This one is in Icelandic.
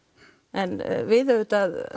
en við auðvitað